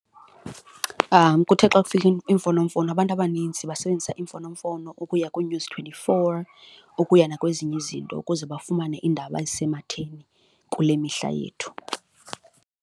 Kuthe xa kufika iimfonomfono abantu abaninzi basebenzisa imfonomfono ukuya kuNews twenty-four, ukuya nakwezinye izinto ukuze bafumane iindaba ezisematheni kule mihla yethu.